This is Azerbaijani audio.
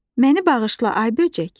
Məni bağışla, ay böcək.